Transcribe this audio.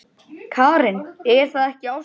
Karen: Er það ekki ástin?